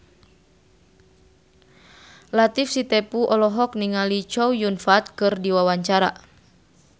Latief Sitepu olohok ningali Chow Yun Fat keur diwawancara